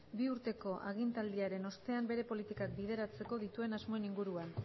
bi urteko agintaldiaren ostean bere politikak bideratzeko dituen asmoen inguruan